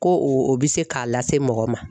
Ko o bɛ se k'a lase mɔgɔ ma.